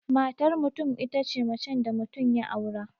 Matar mutum itace macen da mutum ya aura